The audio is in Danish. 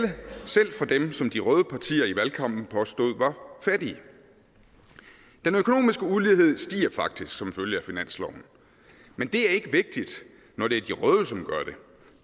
selv fra dem som de røde partier i valgkampen påstod var fattige den økonomiske ulighed stiger faktisk som følge af finansloven men det er ikke vigtigt når det